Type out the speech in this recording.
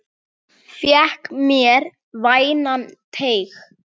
Fékk mér vænan teyg.